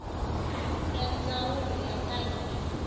ya ndzawulo ya ta le